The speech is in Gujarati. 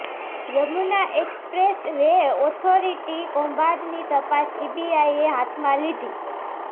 યમુના એક્સપ્રેસ વે ઓથોરિટી કૌભાંડની તપાસ સીબીઆઈએ હાથમાં લીધી